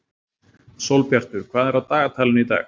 Sólbjartur, hvað er á dagatalinu í dag?